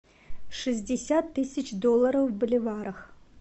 шестьдесят тысяч долларов в боливарах